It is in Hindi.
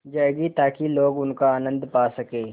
जाएगी ताकि लोग उनका आनन्द पा सकें